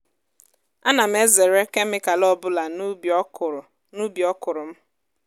ana m ezere kemịkal ọ bụla n’ubi ọkụrụ n’ubi ọkụrụ m.